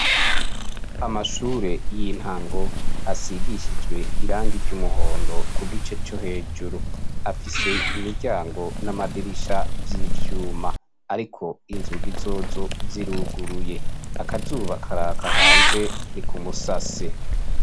Amashure y'intango asigishijwe irangi ry'umuhondo ku gice co hejuru. Afise imiryango n'amadirisha vy'ivyuma. Ariko inzugi zozo ziruguruye. Akazuba karaka hanze ni ku musase.